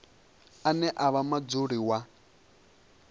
ane a vha mudzuli wa